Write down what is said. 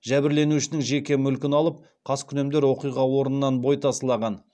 жәбірленушінің жеке мүлкін алып қаскүнемдер оқиға орнынан бой тасалаған